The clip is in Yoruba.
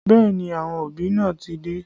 Bẹẹ ni, àwọn òbí náà ti dé